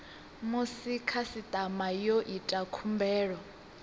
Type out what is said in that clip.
musi khasitama yo ita khumbelo